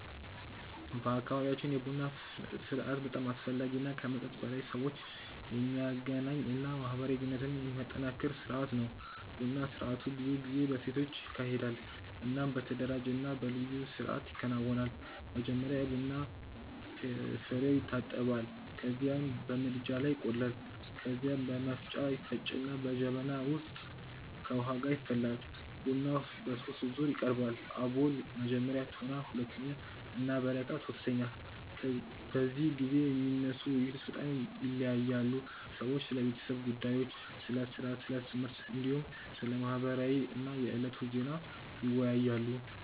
በአካባቢያችን የቡና ስርአት በጣም አስፈላጊ እና ከመጠጥ በላይ ሰዎችን የሚያገናኝ እና ማህበራዊ ግንኙነትን የሚያጠናክር ስርአት ነው። ቡና ስርአቱ ብዙ ጊዜ በሴቶች ይካሄዳል እናም በተደራጀ እና በልዩ ስርአት ይከናወናል። መጀመሪያ የቡና ፍሬዉ ይታጠባል ከዚያም በምድጃ ላይ ይቆላል። ከዚያ በመፍጫ ይፈጭና በጀበና ውስጥ ከውሃ ጋር ይፈላል። ቡናው በሶስት ዙር ይቀርባል፤ አቦል (መጀመሪያ)፣ ቶና (ሁለተኛ) እና በረካ (ሶስተኛ)። በዚህ ጊዜ የሚነሱ ውይይቶች በጣም ይለያያሉ። ሰዎች ስለ ቤተሰብ ጉዳዮች፣ ስለ ሥራ፣ ስለ ትምህርት፣ እንዲሁም ስለ ማህበረሰብ እና የዕለቱ ዜና ይወያያሉ።